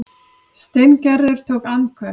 Steingerður tók andköf.